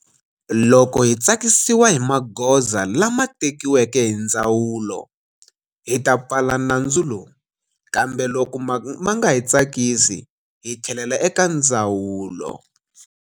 Loko hi tsakisiwa hi magoza lama tekiweke hi ndzawulo, hi ta pfala nandzu lowu, kambe loko ma nga hi tsakisi hi tlhelela eka ndzawulo.